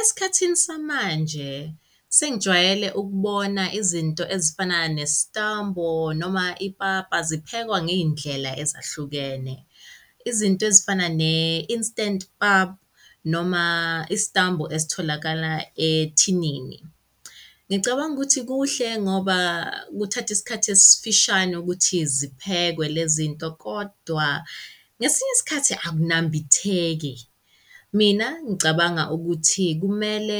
Esikhathini samanje sengijwayele ukubona izinto ezifana nesitambo noma ipapa ziphekwa ngey'ndlela ezahlukene. Izinto ezifana ne-instant pap noma isitambu esitholakala ethinini. Ngicabanga ukuthi kuhle ngoba kuthatha isikhathi esifishane ukuthi ziphekwe lezinto kodwa ngesinye isikhathi akunambitheki. Mina ngicabanga ukuthi kumele